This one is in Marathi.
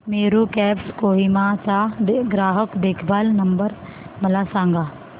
मेरू कॅब्स कोहिमा चा ग्राहक देखभाल नंबर मला सांगा